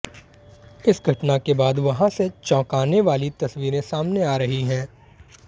इस घटना के बाद वहां से चौंकाने वाली तस्वीरें सामने आ रही हैं